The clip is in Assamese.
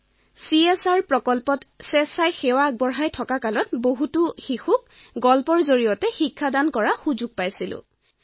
তেতিয়া মই এটা চিএছআৰ প্ৰকল্পত স্বেচ্ছামূলকভাৱে কাম কৰিবলৈ গৈছিলো আৰু তেতিয়াই সহস্ৰাধিক শিশুক কাহিনীৰ মাধ্যমেৰে শিক্ষা প্ৰদানৰ সুযোগ পাইছিল